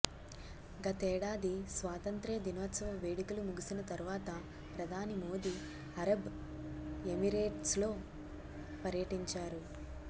గతేడాది స్వాతంత్ర్య దినోత్సవ వేడుకలు ముగిసిన తర్వాత ప్రధాని మోదీ అరబ్ ఎమిరేట్స్లో పర్యటించారు